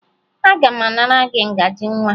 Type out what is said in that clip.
Aga m anara gị ngaji nwa